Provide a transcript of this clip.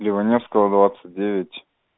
леваневского двадцать девять